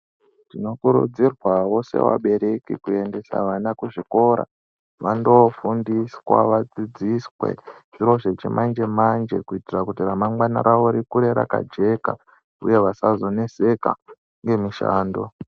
Tinokurudzirwawo sevabereki, kuendesa ana kuzvikora vanofundiswa ,vadzidziswe zviro zvechimanjemanje kuitira ramangwana ravo rikure rakajeka uye vasazonetseka nemishando.